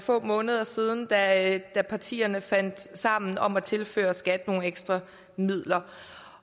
få måneder siden da da partierne fandt sammen om at tilføre skat nogle ekstra midler